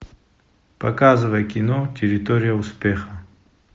показывай кино территория успеха